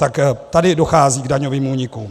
Tak tady dochází k daňovým únikům.